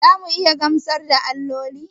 Za mu iya gamsar da alloli?